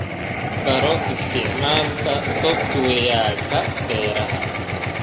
Baro isticmaalka software-ka beeraha.